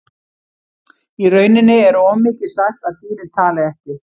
Í rauninni er of mikið sagt að dýrin tali ekki.